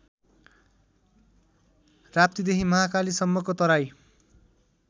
राप्तीदेखि महाकालीसम्मको तराई